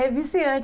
É viciante.